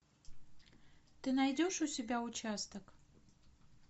ты найдешь у себя участок